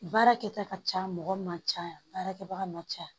Baara kɛta ka ca mɔgɔ ma ca baarakɛbaga ma ca